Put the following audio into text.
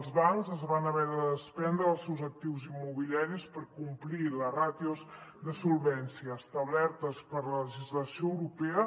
els bancs es van haver de despendre dels seus actius immobiliaris per complir les ràtios de solvència establertes per la legislació europea